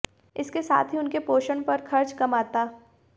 इसके साथ ही उनके पोषण पर खर्च कम आता